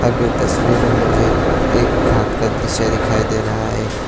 आगे तस्वीर में मुझे एक घाट का दृश्य दिखाई दे रहा है।